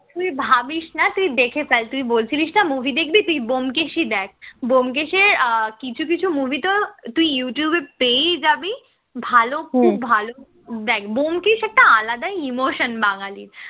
তুই ভাবিস না তুই দেখে ফেল তুই বলছিলিস না movie দেখবি তুই ব্যোমকেশই দেখ, ব্যোমকেশ এ কিছু কিছু movie তো তুই youtube এ পেয়েই যাবি, ভালো খুব ভালো দেখ ব্যোমকেশ একটা আলাদা emotion বাঙালির